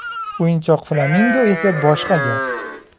O‘yinchoq flamingo esa boshqa gap.